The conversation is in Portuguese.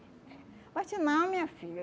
Bate não, minha filha.